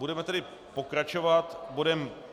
Budeme tedy pokračovat bodem